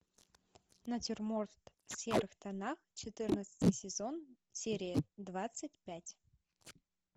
натюрморт в серых тонах четырнадцатый сезон серия двадцать пять